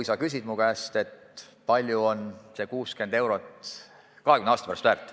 Sa küsid minu käest, kui palju on 60 eurot väärt kahekümne aasta pärast.